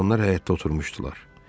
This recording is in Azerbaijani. Oğlanlar həyətdə oturmuşdular.